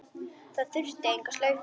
Hún þurfti enga slaufu.